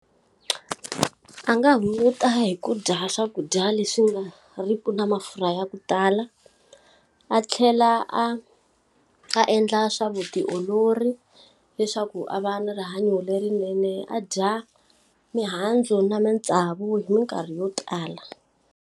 A nga hunguta hi ku dya swakudya leswi nga ri ki na mafurha ya ku tala, a tlhela a a endla swa vutiolori. Leswaku a va na rihanyo lerinene a dya mihandzu na matsavu hi minkarhi yo tala.